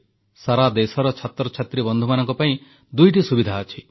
ସାରାଦେଶର ଛାତ୍ରଛାତ୍ରୀ ବନ୍ଧୁମାନଙ୍କ ପାଇଁ ଦୁଇଟି ସୁବିଧା ଅଛି